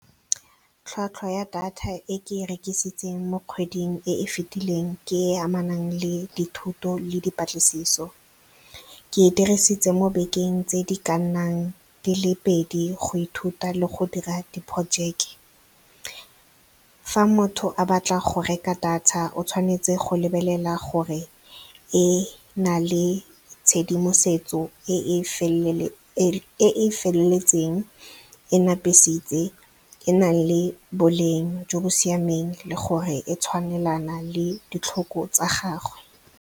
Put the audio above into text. Tlhwatlhwa ya data e ke e rekisitseng mo kgweding e e fetileng ke e e amanang le dithuto le dipatlisiso. Ke e dirisitse mo bekeng tse di ka nnang di le pedi go ithuta le go dira diporojeke. Fa motho a batla go reka data, o tshwanetse go lebelela gore e na le tshedimosetso e e feleletseng, e napisitse, e na le boleng jo bo siameng le gore e tshwanelana le ditlhoko tsa gagwe.